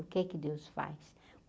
O que é que Deus faz?